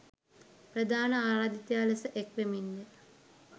ප්‍රධාන ආරාධිතයා ලෙස එක්වෙමින්ය.